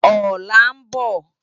Òlá n bò